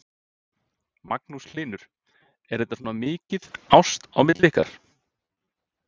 Magnús Hlynur: Er þetta svona mikið ást á milli ykkar?